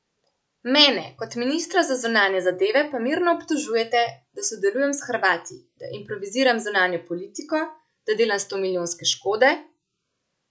Mene kot ministra za zunanje zadeve pa mirno obtožujete, da sodelujem s Hrvati, da improviziram zunanjo politiko, da delam stomilijonske škode...